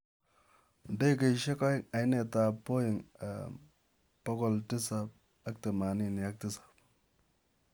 Ndegeeisiek aeng' iinteet ap 'Boeing 787